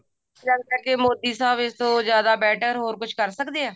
ਗੱਲ ਕਰਕੇ ਮੋਦੀ ਸਾਹਬ ਇਸ ਤੋਂ ਜਿਆਦਾ better ਹੋਰ ਕੁੱਝ ਕਰ ਸਕਦੇ ਐ